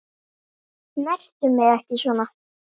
Snertu mig ekki svona.